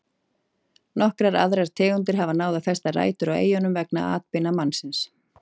Nokkrar aðrar tegundir hafa náð að festa rætur á eyjunum vegna atbeina mannsins.